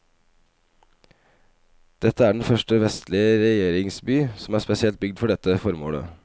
Dette er den første vestlige regjeringsby som er spesielt bygd for dette formålet.